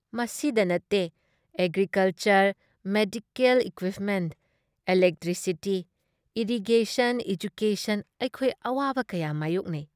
ꯃꯁꯤꯗ ꯅꯠꯇꯦ agriculture, medical equipment, electricity, irrigation, education ꯑꯩꯈꯣꯏ ꯑꯋꯥꯕ ꯀꯌꯥ ꯃꯥꯏꯌꯣꯛꯅꯩ꯫